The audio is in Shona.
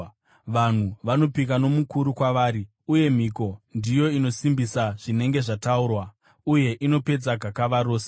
Vanhu vanopika nomukuru kwavari, uye mhiko ndiyo inosimbisa zvinenge zvataurwa, uye inopedza gakava rose.